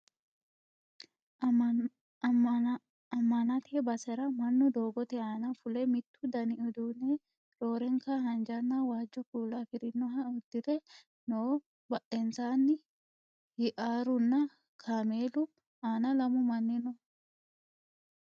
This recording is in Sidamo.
ammanate basera mannu doogote aana fule mittu dani uduunne roorenka haanjanna waajjo kuula afirinoha uddire no badhensanni hiaarunna kameelu aana lamu manni no